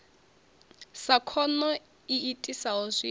sa khono i itisaho zwikho